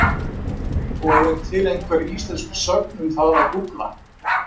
Og er til einhver íslensk sögn um það að gúgla?